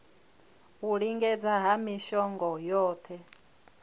u lingedza ha mishongo yohe